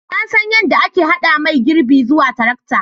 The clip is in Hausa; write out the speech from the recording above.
Na san yadda ake haɗa mai girbi zuwa tarakta